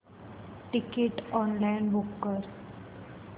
ticket online book कर